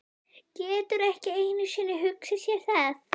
Getur ekki einu sinni hugsað sér það.